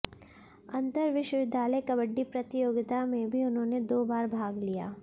अंतर विश्वविद्यालय कबड्डी प्रतियोगिता में भी उन्होंने दो बार भाग लिया